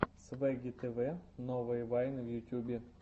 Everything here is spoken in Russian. свегги тв новые вайны в ютьюбе